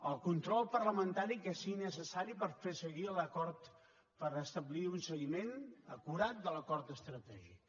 el control parlamentari que sigui necessari per fer seguir l’acord per establir un seguiment acurat de l’acord estratègic